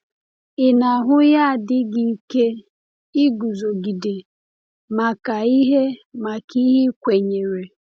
Ị na - ahụ ya dị gị ike iguzogide maka ihe maka ihe i kwenyere?